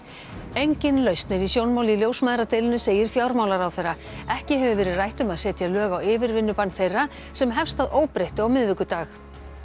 engin lausn er í sjónmáli í ljósmæðradeilunni segir fjármálaráðherra ekki hefur verið rætt um að setja lög á yfirvinnubann þeirra sem hefst að óbreyttu á miðvikudag